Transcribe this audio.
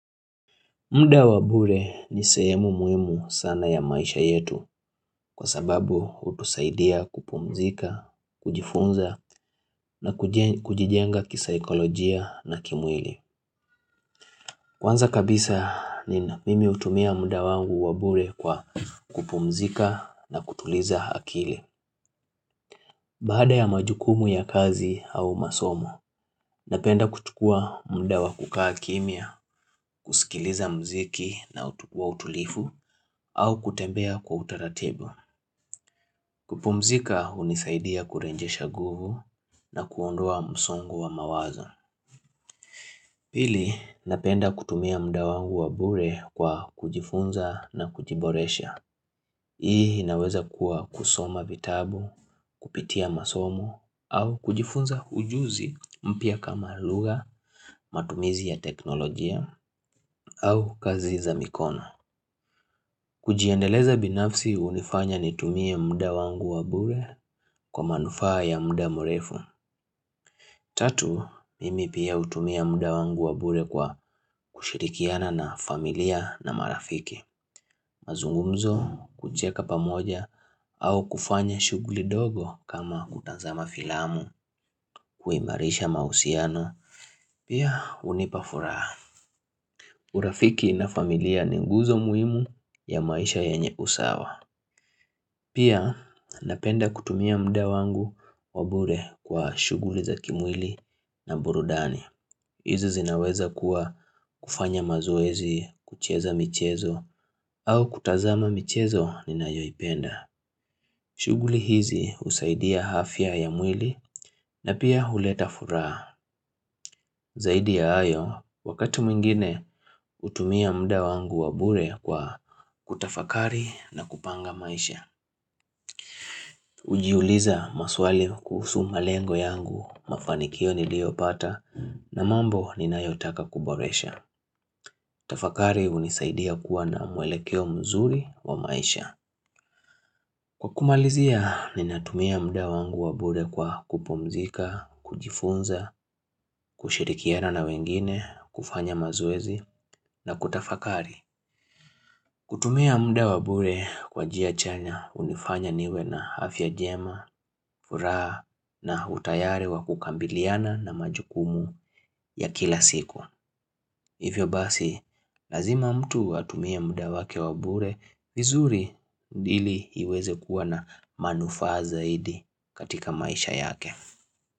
Munda wa bure ni sahemu muhimu sana ya maisha yetu kwa sababu hutusaidia kupumzika, kujifunza na kujijenga kisaekolojia na kimwili. Kwanza kabisa ni mimi utumia muda wangu wabure kwa kupumzika na kutuliza akili. Baada ya majukumu ya kazi au masomo, napenda kuchukua mda wa kukaa kimia, kusikiliza mziki na utukua utulifu, au kutembea kwa utaratibu. Kupumzika hunisaidia kurejesha nguvu na kuondua msongu wa mawazo. Pili, napenda kutumia mda wangu wa bure kwa kujifunza na kujiboresha. Hii inaweza kuwa kusoma vitabu, kupitia masomo au kujifunza ujuzi mpya kama lugha matumizi ya teknolojia au kazi za mikona. Kujiendeleza binafsi unifanya nitumie mda wangu wabure kwa manufaa ya mda murefu. Tatu, mimi pia utumia mda wangu wabure kwa kushirikiana na familia na marafiki. Mazungumzo kucheka pamoja au kufanya shughuli dogo kama kutazama filamu kuimarisha mahusiano. Pia hunipafuraha. Urafiki na familia ni nguzo muhimu ya maisha yenye usawa. Pia napenda kutumia mda wangu wabure kwa shuguli za kimwili na burudani. Izo zinaweza kuwa kufanya mazoezi kucheza michezo au kutazama michezo ninayoipenda. Shughuli hizi husaidia afya ya mwili na pia huleta furaha zaidi ya hayo wakatu mingine hutumia mda wangu wabure kwa kutafakari na kupanga maisha. Ujiuliza maswali kuhusu malengo yangu mafanikio niliopata na mambo ni nayotaka kuboresha. Tafakari hunisaidia kuwa na mwelekeo mzuri wa maisha. Kwa kumalizia, ninatumia mda wangu wa bure kwa kupomzika, kujifunza, kushirikiana na wengine, kufanya mazoezi na kutafakari. Kutumia mda wabure kwa njia chanya hunifanya niwe na afya njema, furaha na utayari wa kukambiliana na majukumu ya kila siku. Hivyo basi, lazima mtu watumia muda wake wabure, vizuri hili iweze kuwa na manufaa zaidi katika maisha yake.